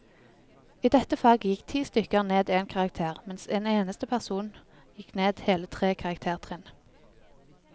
I dette faget gikk ti stykker ned en karakter, mens en eneste person gikk ned hele tre karaktertrinn.